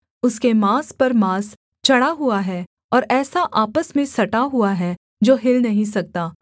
उसके माँस पर माँस चढ़ा हुआ है और ऐसा आपस में सटा हुआ है जो हिल नहीं सकता